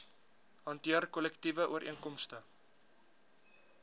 hanteer kollektiewe ooreenkomste